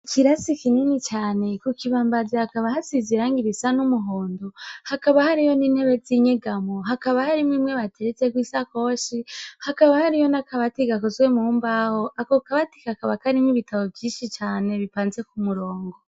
Ikirasi kinini cane, ku kibambazi hakaba hasize irangi risa n'umuhondo, hakaba hariyo n'intebe zinyegamo, hakaba har'imwe bateretseko isakoshi, hakaba hariyo n'akabati gakozwe mu mbaho, akor kabati kakaba karimwo ibitabo vyinshi cane bitonze ku murongo.